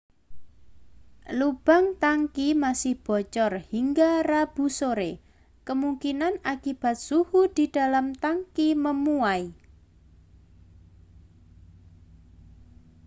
lubang tangki masih bocor hingga rabu sore kemungkinan akibat suhu di dalam tangki memuai